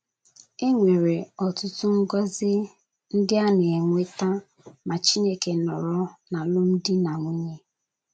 E nwere ọtụtụ ngọzi ndị a na - enweta ma Chineke nọrọ n’alụmdi na nwunye.